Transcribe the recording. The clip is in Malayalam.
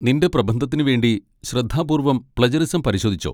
നിന്റെ പ്രബന്ധത്തിന് വേണ്ടി ശ്രദ്ധാപൂർവ്വം പ്ലെജറിസം പരിശോധിച്ചോ?